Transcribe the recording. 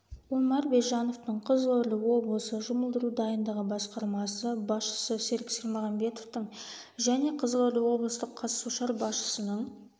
омар бержановтың қызылорда облысы жұмылдыру дайындығы басқармасы басшысы серік сермағамбетовтің және қызылорда облыстық қазсушар басшысының